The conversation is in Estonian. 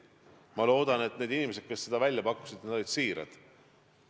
Ma loodan, et need inimesed, kes seda välja pakkusid, olid siirad.